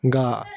Nka